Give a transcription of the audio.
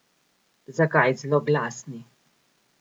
Zakaj zloglasni?